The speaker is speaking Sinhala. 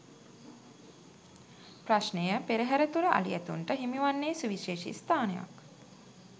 ප්‍රශ්නය පෙරහර තුළ අලි ඇතුන්ට හිමිවන්නේ සුවිශේෂී ස්ථානයක්.